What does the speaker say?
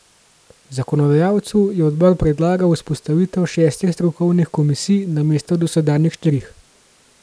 Zakonodajalcu je odbor predlagal vzpostavitev šestih strokovnih komisij namesto dosedanjih štirih.